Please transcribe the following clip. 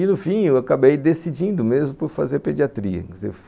E, no fim, eu acabei decidindo mesmo por fazer pediatria.